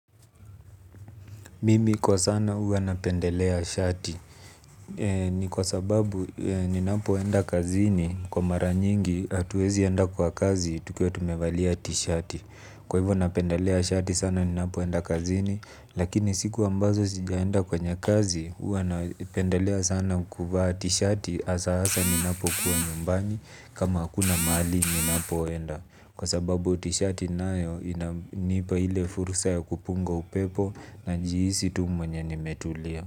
Mimi kwa sana huwa napendelea shati ni kwa sababu ninapoenda kazini kwa mara nyingi hatuwezi enda kwa kazi tukuwa tumevalia tisheti. Kwa hivyo napendelea shati sana ninapoenda kazini lakini siku ambazo sijaenda kwenye kazi huwa napendelea sana kuvaa tisheti hasa hasa ninapo kuwa nyumbani kama hakuna mahali ninapoenda. Kwa sababu tisheti nayo inanipa ile fursa ya kupunga upepo na jihisi tu mwenye nimetulia.